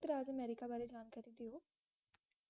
ਰਾਜ America ਬਾਰੇ ਜਾਣਕਾਰੀ ਦੇ ਦੋ